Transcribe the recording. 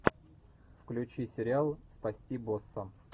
включи сериал спасти босса